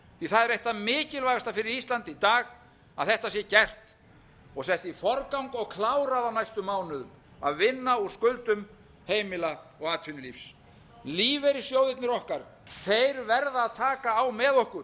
það er eitt það mikilvægasta fyrir ísland í dag að þetta sé gert og sett í forgang og klárað á næstu mánuðum að vinna úr skuldum heimila og atvinnulífs lífeyrissjóðirnir okkar þeir verða að taka á með okkur